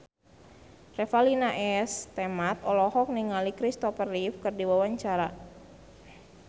Revalina S. Temat olohok ningali Kristopher Reeve keur diwawancara